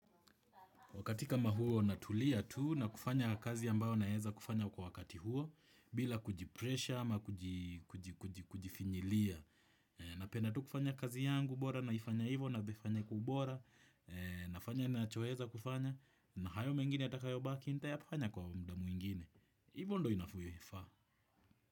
Wakati kama huo natulia tuu na kufanya kazi ambayo naeza kufanya kwa wakati huo. Bila kujipresha ama kujifinyilia. Napenda tuu kufanya kazi yangu bora naifanya hivo naifanya kwa ubora. Nafanya nachoeza kufanya na hayo mengine yatakayo baki nita yafanya kwa mda mwingine. Hivo ndo inavyofaa.